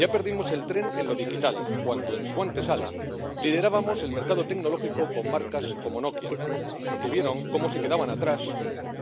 Ya perdimos el tren en lo digital cuando en su antesala liderábamos el mercado tecnológico con marcas como Nokia, que vieron cómo se quedaban atrás